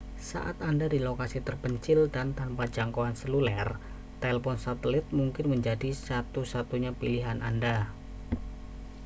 saat berada di lokasi terpencil dan tanpa jangkauan seluler telepon satelit mungkin menjadi satu-satunya pilihan anda